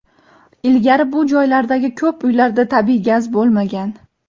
ilgari bu joylardagi ko‘p uylarda tabiiy gaz bo‘lmagan.